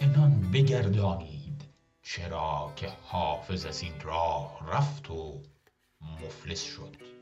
عنان بگردانید چرا که حافظ از این راه رفت و مفلس شد